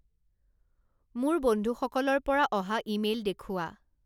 মোৰ বন্ধু্সকলৰ পৰা অহা ইমেইল দেখুওৱা